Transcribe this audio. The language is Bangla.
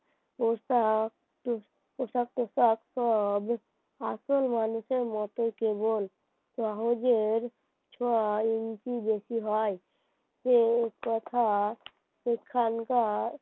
পর আসল মানুষের মতই কেবল সহজে এর ছ ইঞ্চি বেশি হয় সে কথা সেইখানকার